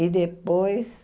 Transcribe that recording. E depois,